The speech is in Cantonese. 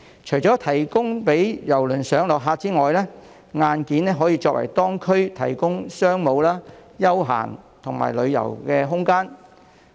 除了提供郵輪上落客區之外，硬件還可為當區提供商務、休閒及旅遊空間。